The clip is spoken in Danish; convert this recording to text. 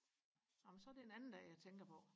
amen så er det en anden dag jeg tænker på